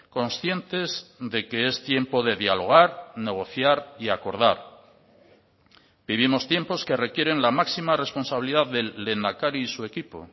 conscientes de que es tiempo de dialogar negociar y acordar vivimos tiempos que requieren la máxima responsabilidad del lehendakari y su equipo